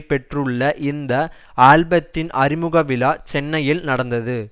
பெற்றுள்ள இந்த ஆல்பத்தின் அறிமுக விழா சென்னையில் நடந்தது